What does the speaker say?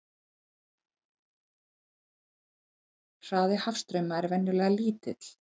Hraði hafstrauma er venjulega lítill.